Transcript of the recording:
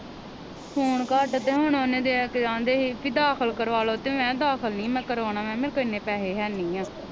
ਖੂਨ ਘੱਟ ਤੇ ਹੁਣ ਉਹਨੂੰ ਡਾਕਟਰ ਕਹਿੰਦੇ ਹੀ ਕੇ ਦਾਖ਼ਲ ਕਰਵਾਲੋ ਤੇ ਮੈ ਕਿਹਾ ਦਾਖ਼ਲ ਨਹੀਂ ਮੈ ਕਰਵਾਉਣਾ ਮੈ ਕਿਹਾ ਮੇਰੇ ਕੋ ਇਹ ਨੇ ਪੈਸੇ ਹੈ ਨਹੀਂ ਆ।